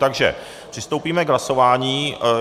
Takže přistoupíme k hlasování.